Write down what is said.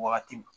Wagati